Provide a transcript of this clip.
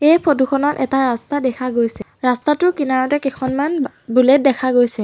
এই ফটো খনত এটা ৰাস্তা দেখা গৈছে ৰাস্তাটোৰ কিনাৰতে কেখনমান বা বুলেট দেখা গৈছে।